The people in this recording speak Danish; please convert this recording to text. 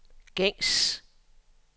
gængs